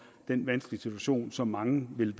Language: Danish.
den vanskelige situation som mange vil